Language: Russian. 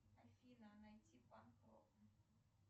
афина найти панк рок